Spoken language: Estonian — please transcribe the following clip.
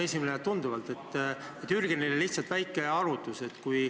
Esitan Jürgenile lihtsalt väikese arvutuse.